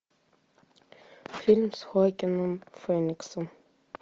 фильм с хоакином фениксом